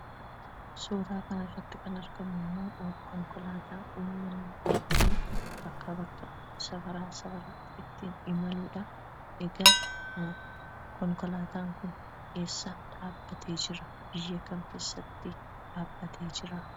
Suuraa kana irratti kan argamu immoo konkolaataa ittiin uummanni ittiin bakkaa bakkatti, safaraa safaratti ittiin imaluudha. Egaa konkolaataan kun eessa dhaabbatee jira? Biyya kam keessa dhaabbatee jira?